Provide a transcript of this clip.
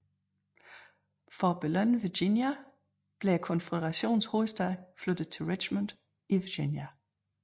For at belønne Virginia blev Konføderationens hovedstad flyttet til Richmond i Virginia